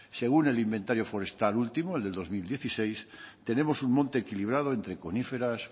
según el inventario forestal último el del dos mil dieciséis tenemos un monte equilibrado entre coníferas